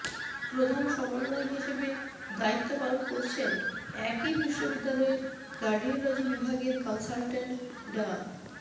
প্রধান সমন্বয়ক হিসেবে দায়িত্ব পালন করছেন একই বিশ্ববিদ্যালয়ের কার্ডিওলজি বিভাগের কনসালট্যান্ট ডা